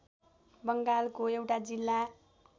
बङ्गालको एउटा जिल्ला